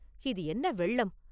இது என்ன வெள்ளம்?